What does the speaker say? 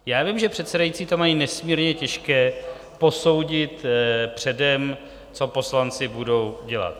Já vím, že předsedající to mají nesmírně těžké, posoudit předem, co poslanci budou dělat.